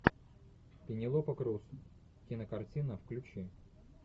пенелопа крус кинокартина включи